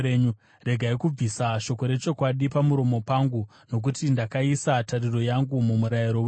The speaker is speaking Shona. Regai kubvisa shoko rechokwadi pamuromo pangu, nokuti ndakaisa tariro yangu mumurayiro wenyu.